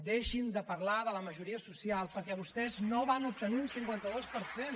deixin de parlar de la majoria social perquè vostès no van obtenir un cinquanta dos per cent